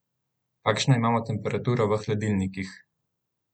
Kakšno imamo temperaturo v hladilnikih?